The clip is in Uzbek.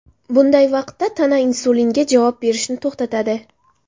Bunday vaqtda tana insulinga javob berishni to‘xtatadi.